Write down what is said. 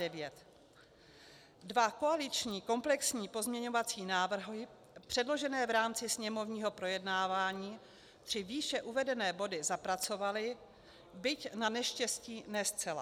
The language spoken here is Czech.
Dva koaliční komplexní pozměňovací návrhy předložené v rámci sněmovního projednávání tři výše uvedené body zapracovaly, byť naneštěstí ne zcela.